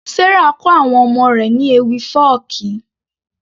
Sarah kọ àwọn ọmọ rẹ̀ ní ewì fọ́ọ̀kí